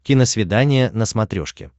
киносвидание на смотрешке